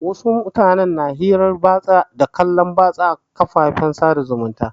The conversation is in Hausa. Wasu mutanen na hirar batsa da kallon batsa a kafofin sada zumunta.